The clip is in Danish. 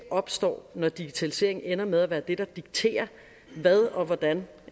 opstår når digitaliseringen ender med at være det der dikterer hvad og hvordan